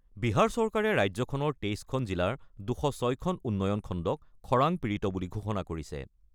বিহাৰ চৰকাৰে ৰাজ্যখনৰ ২৩খন জিলাৰ ২০৬টা উন্নয়ন খণ্ডক খৰাং পীড়িত বুলি ঘোষণা কৰিছে।